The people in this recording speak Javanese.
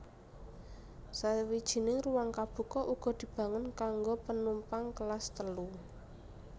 Sawijining ruwang kabuka uga dibangun kanggo penumpang Kelas Telu